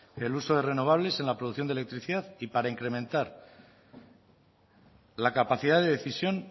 el uso de renovables en la producción de electricidad y para incrementar la capacidad de decisión